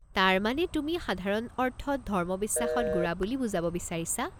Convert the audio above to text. তাৰমানে তুমি সাধাৰণ অৰ্থত ধৰ্মবিশ্বাসত গোড়া বুলি বুজাব বিচাৰিছা?